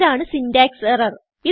ഇതാണ് syntax error